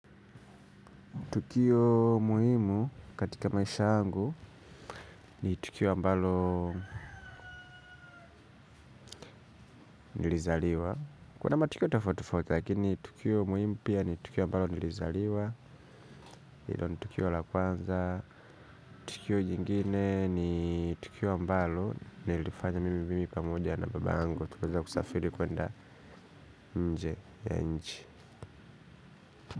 Tukio muhimu katika maisha yangu ni tukio ambalo nilizaliwa. Kuna matukio tofauti tofauti lakini tukio muhimu pia ni tukio ambalo nilizaliwa, hilo ni tukio la kwanza. Tukio jingine ni tukio ambalo nililifanya mimi pamoja na babangu. Tukaweza kusafiri kwenda nje ya nchi.